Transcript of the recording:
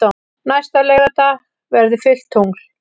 Næsta laugardag verður fullt tungl.